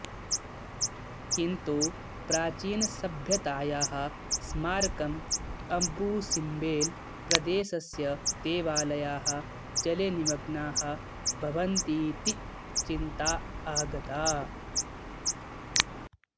किन्तु प्राचीनसभ्यतायाः स्मारकं अबुसिम्बेल् प्रदेशस्य देवालयाः जलेनिमग्नाः भवन्तीति चिन्ता आगता